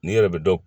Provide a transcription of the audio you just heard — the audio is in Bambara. N'i yɛrɛ bɛ dɔn